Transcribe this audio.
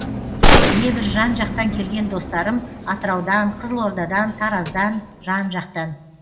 небір жан жақтан келген достарым атыраудан қызылордадан тараздан жан жақтан